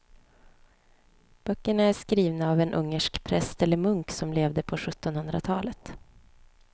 Böckerna är skrivna av en ungersk präst eller munk som levde på sjuttonhundratalet.